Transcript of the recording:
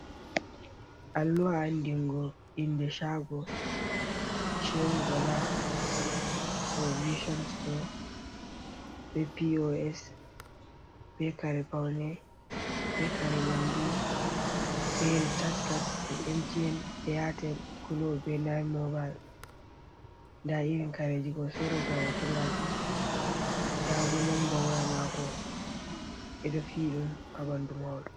Alluha andingo inde shaago, Shehu Bala provishon stow be P.O.S, be kare paune, be kare nyamdu, be ricaaj cad jei emti'en, eyatel, gulp, be nain mobail. Nda irin kareji ko sorata, hoto maajum. Nda bo nomba waya mako, ɓe ɗo fiyi ɗum ha ɓandu mahol.